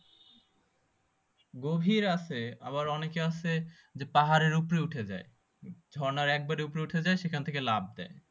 গভীর আছে আবার ওনাকে আছে যে পাহাড়ের উপরে উঠে যাই ঝর্ণার একবারে উপরে উঠে যাই সেখান থেকে লাফ দেয়